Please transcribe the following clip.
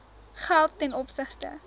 geld ten opsigte